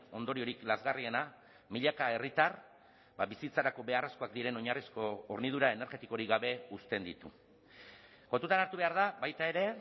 ondoriorik lazgarriena milaka herritar bizitzarako beharrezkoak diren oinarrizko hornidura energetikorik gabe uzten ditu kontutan hartu behar da baita ere